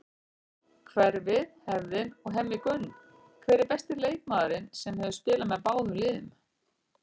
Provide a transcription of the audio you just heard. Hverfið, hefðin og Hemmi Gunn Hver er besti leikmaðurinn sem hefur spilað með báðum liðum?